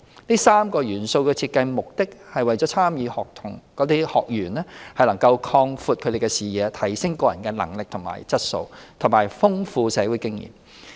這3個元素的設計目的是為參與學員擴闊視野、提升個人能力和質素，以及豐富社會經驗。